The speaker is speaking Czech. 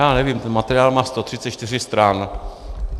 Já nevím, ten materiál má 134 stran.